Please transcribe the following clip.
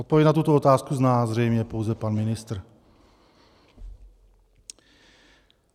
Odpověď na tuto otázku zná zřejmě pouze pan ministr.